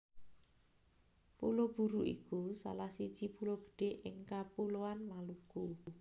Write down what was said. Pulo Buru iku salah siji pulo gedhé ing Kapuloan Maluku